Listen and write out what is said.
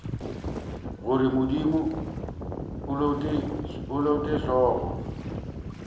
gore modimo a lote hlogo